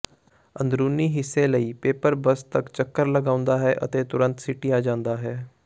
ਅੰਦਰੂਨੀ ਹਿੱਸੇ ਲਈ ਪੇਪਰ ਬੇਸ ਤਕ ਚੱਕਰ ਲਗਾਉਂਦਾ ਹੈ ਅਤੇ ਤੁਰੰਤ ਸਿਟਿਆਂ ਜਾਂਦਾ ਹੈ